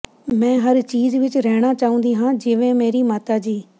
ਮੈਂ ਹਰ ਚੀਜ਼ ਵਿਚ ਰਹਿਣਾ ਚਾਹੁੰਦੀ ਹਾਂ ਜਿਵੇਂ ਮੇਰੀ ਮਾਤਾ ਜੀ